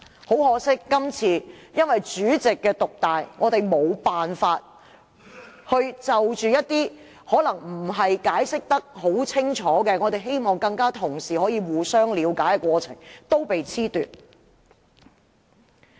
很可惜，這次因為主席權力獨大，令我們無法就一些解釋得不夠清楚的修訂建議與議員同事互相討論，加深了解。